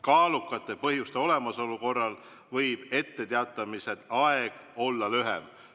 Kaalukate põhjuste olemasolu korral võib etteteatamise aeg olla lühem.